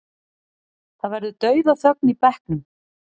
Það verður dauðaþögn í bekknum.